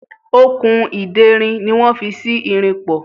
Okùn ìderin ni wọ́n fi sí irin pọ̀.